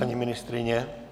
Paní ministryně?